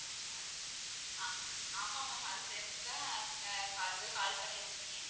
ஆமா, ஆமா ma'am அது தெரிஞ்சு தான் call call பண்ணிருக்கேன்.